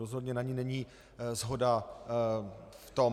Rozhodně na ní není shoda v tom...